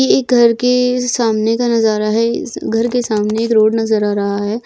ये एक घर के सामने का नजारा है। इस घर के सामने एक रोड नज़र आ रहा है।